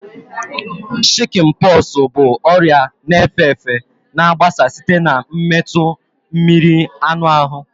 Shikin poxu bụ ọrịa na efe efe na agbasa site na metụ mmiri anụ ahụ